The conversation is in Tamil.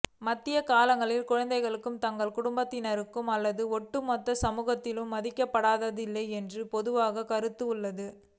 மத்திய காலங்களில் குழந்தைகள் தங்கள் குடும்பத்தினர் அல்லது ஒட்டுமொத்தமாக சமூகத்தால் மதிக்கப்படுவதில்லை என்று ஒரு பொதுவான கருத்து உள்ளது